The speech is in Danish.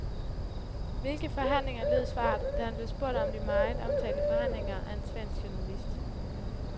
Hvilke forhandlinger, lød svaret, da han blev spurgt om de meget omtalte forhandlinger af en svensk journalist.